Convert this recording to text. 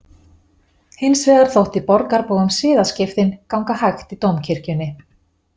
Hins vegar þótti borgarbúum siðaskiptin ganga hægt í dómkirkjunni.